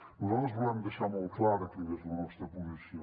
nosaltres volem deixar molt clara quina és la nostra posició